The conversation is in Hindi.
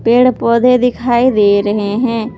पेड़ पौधे दिखाई दे रहे हैं ।